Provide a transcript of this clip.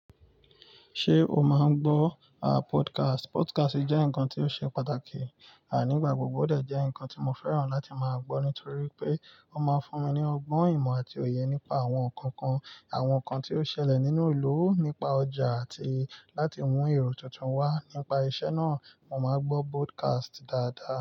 Ṣé o máa ń gbọ́ podcast? Podcast jẹ́ nǹkan tó ṣe pàtàkì nígbàgbọ́. Òdè jẹ́ nǹkan tí mo fẹ́ràn láti máa gbọ́ nítorí pé ó máa ń fún mi ní ọgbọ́n ìmọ̀ àti òye nípa àwọn ǹkan kan, àwọn ǹkan tí ó ṣẹlẹ̀ nínú ìlú, nípa ọjà àti láti mú èrò tuntun wá. Nípa iṣẹ́ náà, mo máa ń gbọ́ podcast dáadáa.